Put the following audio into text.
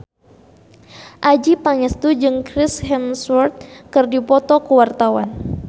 Adjie Pangestu jeung Chris Hemsworth keur dipoto ku wartawan